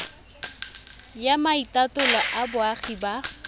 ya maitatolo a boagi ba